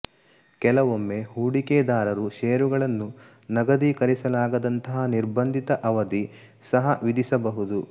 ಕೆಲವೊಮ್ಮೆ ಹೂಡಿಕೆದಾರರು ಷೇರುಗಳನ್ನು ನಗದೀಕರಿಸಲಾಗದಂತಹಾ ನಿರ್ಬಂಧಿತ ಅವಧಿ ಸಹಾ ವಿಧಿಸಬಹುದು